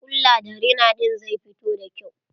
Ƙulla da rina ɗin zai fito da kyau.